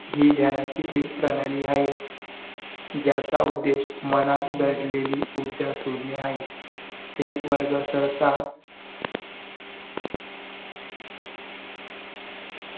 हि ज्ञानाची एक प्रणाली आहे. ज्याचा उद्देश मनात दडलेली ऊर्जा शोधणे आहे एक वर्ग सहसा